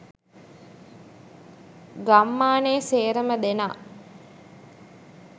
ගම්මානේ සේරම දෙනා